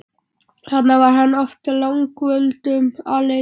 Þarna var hann oft langdvölum aleinn.